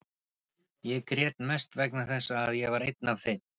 Ég grét mest vegna þess að ég var einn af þeim.